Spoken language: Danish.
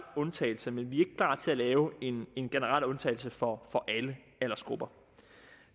undtagelse men vi er ikke parat til at lave en generel undtagelse for alle aldersgrupper